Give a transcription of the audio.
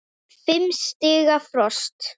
Fimm stiga frost.